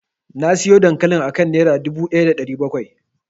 Nasiyo dankalin akan dubu ɗaya da ɗari bakwai.